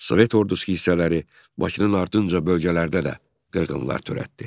Sovet ordusu hissələri Bakının ardınca bölgələrdə də qırğınlar törətdi.